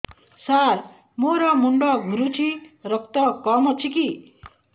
ସାର ମୋର ମୁଣ୍ଡ ଘୁରୁଛି ରକ୍ତ କମ ଅଛି କି